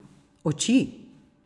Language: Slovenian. Oči!